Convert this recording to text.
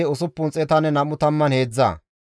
Hashume zereththati 223,